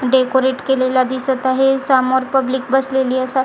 decorate केलेल्या दिसत आहे समोर पब्लिक बसलेली अस--